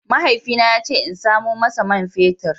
Mahaifina ya ce in samo masa man fetur.